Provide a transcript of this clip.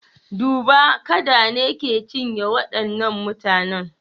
Duba! kada ne ke cinye waɗannan mutanen.